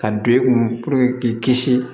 Ka don i kun puruke k'i kisi